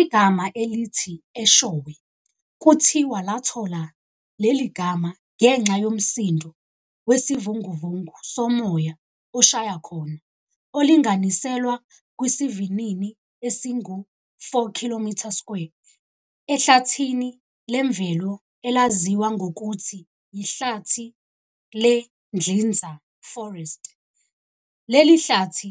Igama elithi Eshowe kuthiwa lathola leli gama ngenxa yomsindo wesivunguvungu somoya oshaya khona, olinganiselwa kwisivinini esingu 4 km² ehlathini lemvelo elaziwa ngokuthi yihlathi le-Dlinza Forest, leli hlathi,